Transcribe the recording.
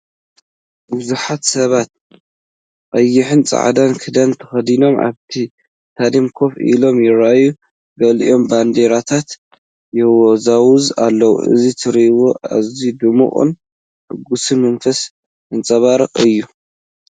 ብዙሓት ሰባት ቀይሕን ጻዕዳን ክዳን ተኸዲኖም ኣብቲ ስታድዩም ኮፍ ኢሎም ይረኣዩ። ገሊኦም ባንዴራታት የወዛውዙ ኣለዉ። እዚ ትርኢት ኣዝዩ ድሙቕን ሕጉስ መንፈስ ዘንጸባርቕን እዩ።